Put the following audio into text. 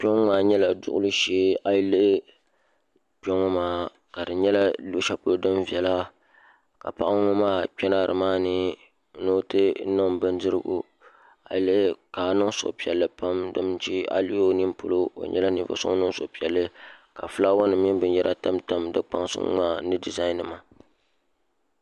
Kpɛ ŋo maa nyɛla duɣuli shee a yi lihi kpɛ ŋo maa ka di nyɛla luɣushɛli polo din viɛla ka paɣa ŋo maa kpɛna nimaani ni o ti niŋ bindirigu ka niŋ suhupiɛlli pam domi shi a yi lihi o nini polo o nyɛla ninvuɣu so ŋun niŋ suhupiɛlli ka fulaawa num mini binyɛra tamtam di kpansi ŋo maa ni dizain nima